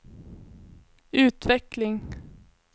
utveckling